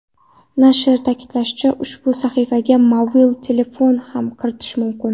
Nashr ta’kidlashicha, ushbu sahifaga mobil telefondan ham kirish mumkin.